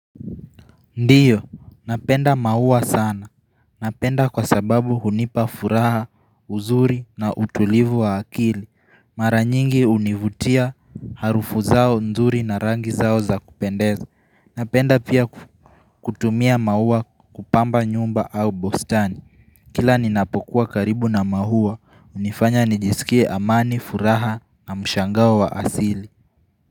Ndiyo. Napenda maua sana. Napenda kwa sababu hunipa furaha uzuri na utulivu wa akili. Mara nyingi hunivutia harufu zao nzuri na rangi zao za kupendeza. Napenda pia kutumia maua kupamba nyumba au bustani. Kila ninapokuwa karibu na maua. Unifanya nijisikie amani, furaha na mshangao wa asili.